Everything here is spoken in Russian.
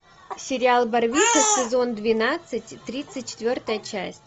сериал барвиха сезон двенадцать тридцать четвертая часть